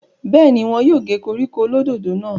bẹ́ẹ̀ni, wọn yóò gé koríko olódòdó náà